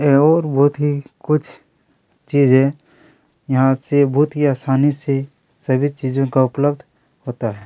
है और बहुत ही कुछ चीजें यहाँ से बहुत ही आसानी से सभी चीजों का उपलब्ध होता है।